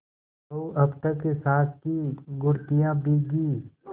बहू अब तक सास की घुड़कियॉँ भीगी